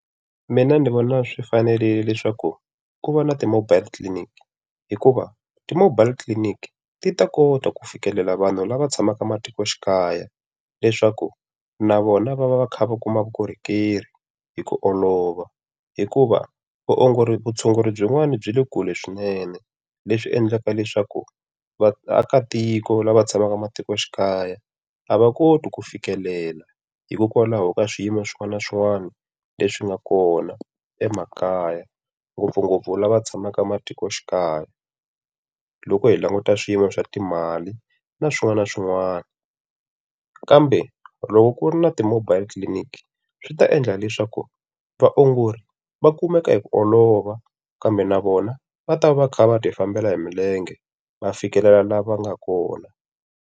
Mina ni vona swi fanerile leswaku ku va na ti-mobile clinic. Hikuva ti-mobile clinic ti ta kota ku fikelela vanhu lava tshamaka ematikoxikaya leswaku na vona va va va kha va kuma vukorhokeri hi ku olova. Hikuva vaongori vutshunguri byin'wana bya le kule swinene, leswi endlaka leswaku vaakatiko lava tshamaka ematikoxikaya a va koti ku fikelela hikokwalaho ka swiyimo swin'wana na swin'wana leswi nga kona emakaya. Ngopfungopfu lava tshamaka ematikoxikaya, loko hi languta swiyimo swa timali na swin'wana na swin'wana. Kambe loko ku ri na ti-mobile clinic swi ta endla leswaku vaongori va kumeka hi ku olova, kambe na vona va ta va kha va ti fambela hi milenge va fikelela la va nga kona.